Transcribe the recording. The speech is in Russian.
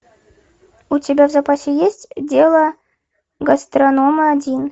у тебя в запасе есть дело гастронома один